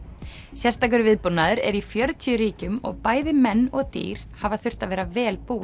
sérstakur viðbúnaður er í fjörutíu ríkjum og bæði menn og dýr hafa þurft að vera vel búin